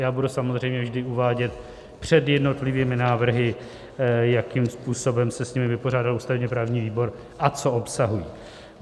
Já budu samozřejmě vždy uvádět před jednotlivými návrhy, jakým způsobem se s nimi vypořádal ústavně-právní výbor a co obsahují.